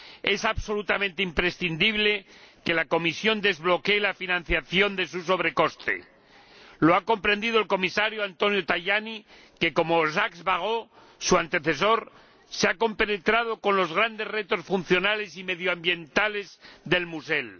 Es absolutamente imprescindible que la Comisión desbloquee la financiación de su sobrecoste. Así lo ha comprendido el Comisario Tajani, que como su antecesor, el señor Barrot se ha compenetrado con los grandes retos funcionales y medioambientales de El Musel.